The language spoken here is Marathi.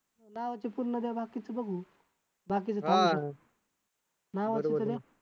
काहीच करत नाही का तुम्ही